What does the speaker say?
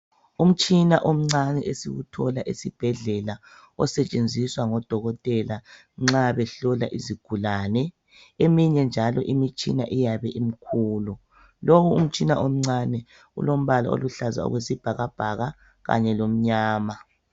Umtshina omncane esiwuthola esibhedlela osetshenziswa ngodokotela nxa behlola izigulane eminye njalo imitshina iyabemikhulu. Lo umtshina omncane ulombala oluhlaza okwesibhakabhaka kanye lomnyama.